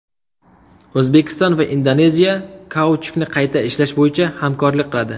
O‘zbekiston va Indoneziya kauchukni qayta ishlash bo‘yicha hamkorlik qiladi.